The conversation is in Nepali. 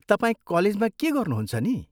तपाईं कलेजमा के गर्नुहुन्छ नि?